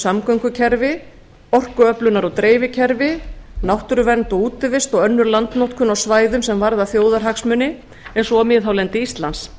samgöngukerfi orkuöflunar og dreifikerfi náttúruvernd og útivist og önnur landnotkun á svæðum sem varðar þjóðarhagsmuni eins og miðhálendi íslands